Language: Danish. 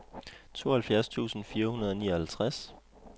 tooghalvtreds tusind fire hundrede og nioghalvtreds